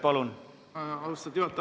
Aitäh, austatud juhataja!